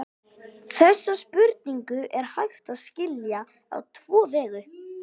Þessa spurningu er hægt að skilja á tvo vegu.